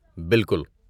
بالکل۔